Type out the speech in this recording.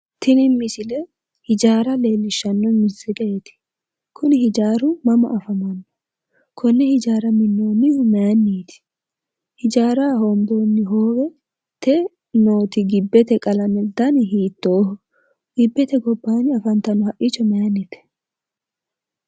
tini misile hijaara leellishanno misileeti, kuni hijaaru mama afamanno? konne hijaara minnoonnihu maayiinniiti? hijaaraho hoomboonni hoowete gibbete qalame dani hiittooho? gibbete gobbaanni afantanno haqqicho maayiinnite?